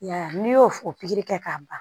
I y'a ye n'i y'o o pikiri kɛ ka ban